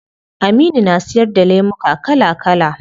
Aminu na siyar da lemuka kala kala